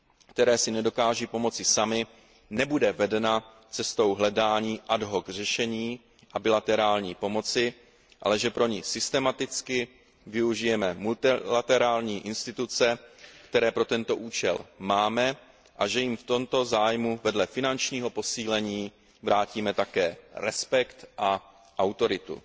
které si nedokáží pomoci samy, nebude vedena cestou hledání ad hoc řešení a bilaterální pomoci, ale že pro ni systematicky využijeme multilaterální instituce, které pro tento účel máme, a že jim v tomto zájmu vedle finančního posílení vrátíme také respekt a autoritu.